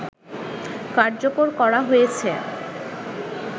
কার্যকর করা হয়েছে